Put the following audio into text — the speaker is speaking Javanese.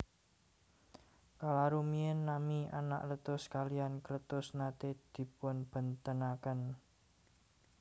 Kala rumiyin nami Anakletus kaliyan Kletus naté dipunbèntenaken